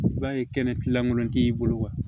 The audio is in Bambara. I b'a ye kɛnɛlankolon t'i bolo